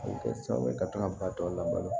A bɛ kɛ sababu ye ka to ka ba tɔ la balo